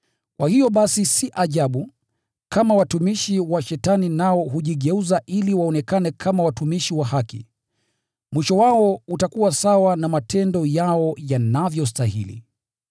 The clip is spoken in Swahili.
Kwa hiyo basi si ajabu, kama watumishi wa Shetani nao hujigeuza ili waonekane kama watumishi wa haki. Mwisho wao utakuwa sawa na matendo yao yanavyostahili.